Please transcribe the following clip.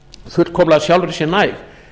fullkomlega sjálfri sér næg